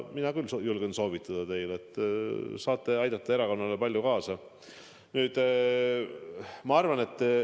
Mina küll julgen teile soovitada, et te saate erakonna edule palju kaasa aidata.